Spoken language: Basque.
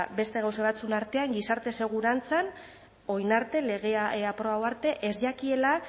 beste gauza batzuen artean gizarte segurantzan orain arte legea aprobatu arte ez jakiela